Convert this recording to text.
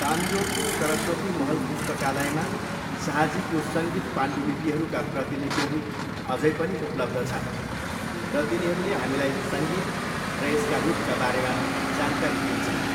तान्जोरको सरस्वती महल पुस्तकालयमा शाहजीको सङ्गीत पाण्डुलिपिहरूका प्रतिलिपिहरू अझै पनि उपलब्ध छन् र तिनीहरूले हामीलाई सङ्गीत र यसका रूपका बारेमा जानकारी दिन्छन्।